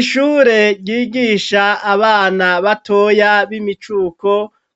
Ishure ryigisha abana batoya b'imicuko